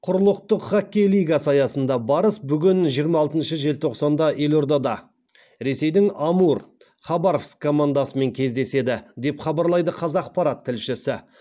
құрлықтық хоккей лигасы аясында барыс бүгін жиырма алтыншы желтоқсанда елордада ресейдің амур командасымен кездеседі деп хабарлайды қазақпарат тілшісі